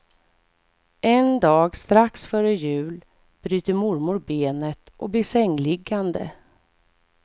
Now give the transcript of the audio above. En dag strax före jul bryter mormor benet och blir sängliggande.